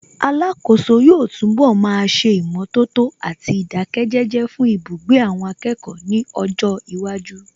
Alákòóso yóò túnbọ̀ máa ṣe ìmọ̀tótó àti ìdáké jẹ́jẹ́ fún ibugbe àwọn akẹ́kọ̀ọ́ ní ọjọ́ iwájú